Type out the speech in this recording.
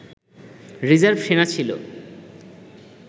reserve সেনা ছিল